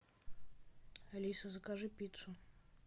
алиса закажи пиццу